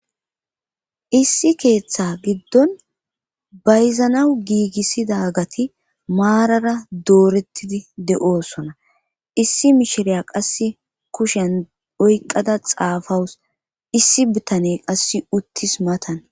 issi keeththa giddon bayzanawu giigissida gati maarara doorettidi de7oosona issi mishiriya qass kushen oyqqada xaafawus issi bitane qass uttis matan